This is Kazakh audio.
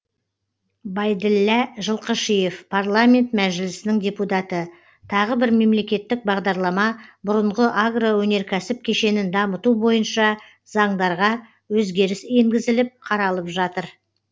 байділлә жылқышиев парламент мәжілісінің депутаты тағы бір мемлекеттік бағдарлама бұрынғы агроөнеркәсіп кешенін дамыту бойынша заңдарға өзгеріс енгізіліп қаралып жатыр